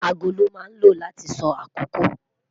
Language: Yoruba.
Aago lon ma lo lati so akoko